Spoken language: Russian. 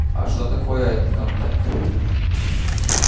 а что такое этот камтек